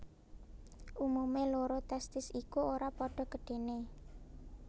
Umumé loro testis iku ora padha gedhené